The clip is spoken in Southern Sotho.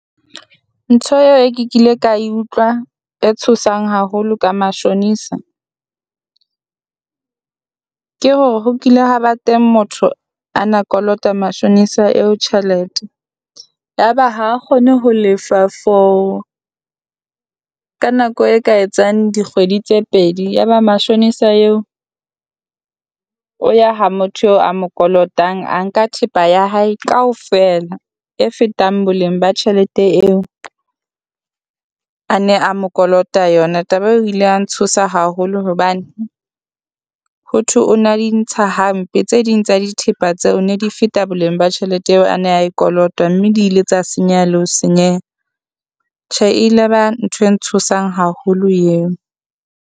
Ntho eo e ke kile ka e utlwa e tshosang haholo ka matjhonisa, ke hore ho kile ha ba teng motho a na kolota matjhonisa eo tjhelete. Ya ba ha kgone ho lefa for ka nako e ka etsang dikgwedi tse pedi, ya ba matjhonisa eo o ya ha motho o a mo kolotang a nka thepa ya hae kaofela e fetang boleng ba tjhelete eo, a ne a mo kolota yona. Taba eo e ile ya ntshosa haholo hobane hothwe o na di ntsha hampe, tse ding tsa dithepa tseo ne di feta boleng ba tjhelete eo a na e kolota. Mme di le tsa senyeha le ho senyeha, tjhe ile ba ntho e ntshosang haholo eo.